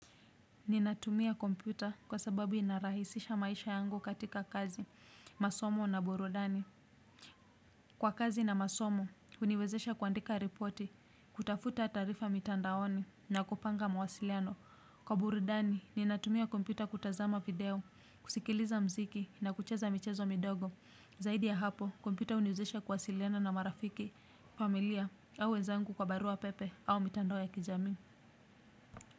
Ninatumia kompyuta kwa sababu inarahisisha maisha yangu katika kazi, masomo na burudani. Kwa kazi na masomo, huniwezesha kuandika ripoti, kutafuta taarifa mitandaoni na kupanga mawasiliano. Kwa burudani ninatumia kompyuta kutazama video, ksikiliza muziki na kucheza michezo midogo. Zaidi ya hapo, kompyuta huniwezesha kuwasiliana na marafiki, familia au wezangu kwa barua pepe au mitandao ya kijami.